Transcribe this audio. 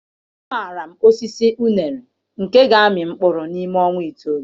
Amaara m osisi unere nke ga-amị mkpụrụ n'ime ọnwa itoolu.